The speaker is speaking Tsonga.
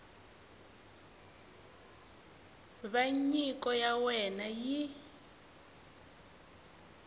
va nyiko ya wena yi